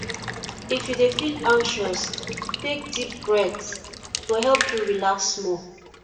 if you dey feel anxious take deep breath e go help you relax small